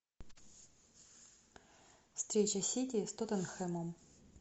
встреча сити с тоттенхэмом